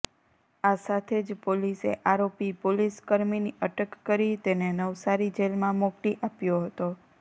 આ સાથે જ પોલીસે આરોપી પોલીસકર્મીની અટક કરી તેને નવસારી જેલમાં મોકલી આપ્યો હતો